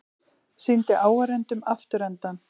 Sýndi áhorfendum afturendann